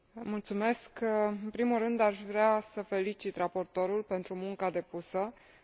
În primul rând, aș vrea să îl felicit pe raportor pentru munca depusă în acest dosar.